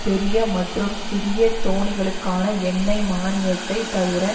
பெரிய மற்றும் சிறிய தோணிகளுக்கான எண்ணெய் மானியத்தை தவிர